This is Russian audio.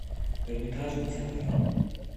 эрмитажный театр